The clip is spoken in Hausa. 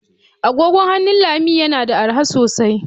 Agogon hannu Lami yana da arha sosai.